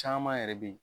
Caman yɛrɛ be yen